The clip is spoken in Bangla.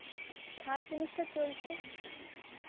third semester চলছে.